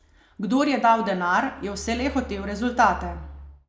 Kdor je dal denar, je vselej hotel rezultate.